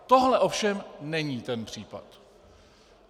Tohle ovšem není ten případ.